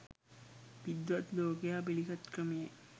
විද්වත් ලෝකයා පිළිගත් ක්‍රමයි.